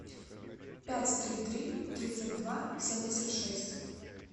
пять три три тридцать два семьдесят шесть